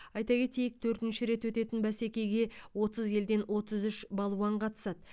айта кетейік төртінші рет өтетін бәсекеге отыз елден отыз үш балуан қатысады